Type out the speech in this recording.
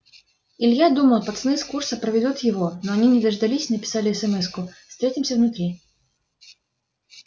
илья думал пацаны с курса проведут его но они не дождались написали эсэмэску встретимся внутри